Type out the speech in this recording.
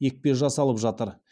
екпе жасалып жатыр